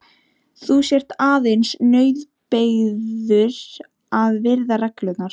Þú sért aðeins nauðbeygður að virða reglurnar.